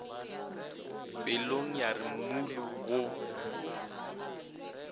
pelong ya re mmulu go